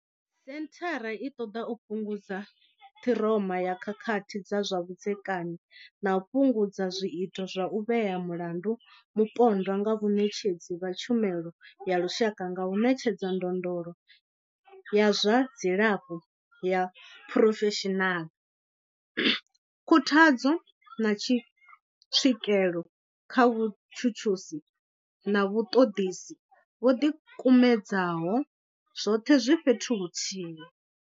Senthara i ṱoḓa u fhungudza ṱhiroma ya khakhathi dza zwa vhudzekani na u fhungudza zwiito zwa u vhea mulandu mupondwa nga vhaṋetshedzi vha tshumelo ya lushaka nga u ṋetshedza ndondolo ya zwa dzilafho ya phurofeshinala, khuthadzo, na tswikelo kha vhatshutshisi na vhaṱoḓisi vho ḓikumedzaho, zwoṱhe zwi fhethu huthihi.